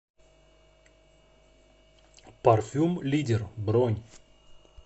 парфюм лидер бронь